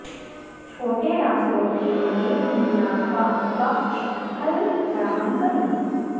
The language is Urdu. چھوٹے ریستوراں کے لئے منافع بخش حل فراہم کرنا